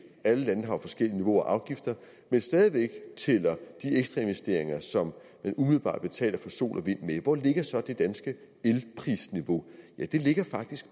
alle lande har jo forskellige niveauer af afgifter men stadig væk tæller de ekstra investeringer som man umiddelbart betaler for sol og vind med hvor ligger så det danske elprisniveau ja det ligger faktisk